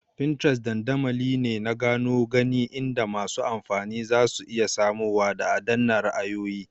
Pinterest dandamali ne na gano gani inda masu amfani zasu iya samowa da adAna ra'ayoyi